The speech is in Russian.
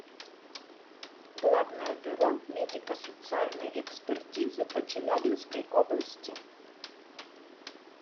главное бюро медико социальной экспертизы по челябинской области